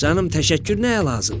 Canım təşəkkür nəyə lazım?